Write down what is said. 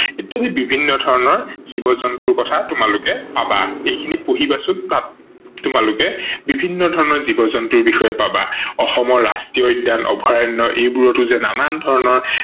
ইত্যাদি বিভিন্ন ধৰনৰ জীৱ-জন্তুৰ কথা তোমালোকে পাবা, এইখিনি পঢ়িবাচোন তাত তোমালোকে বিভিন্ন ধৰনৰ জীৱ-জন্তুৰ কথা বিষয়ে পাবা, অসমৰ ৰাষ্ট্ৰীয় উদ্যান, অভয়াৰন্য এইবোৰতো যে নানান ধৰনৰ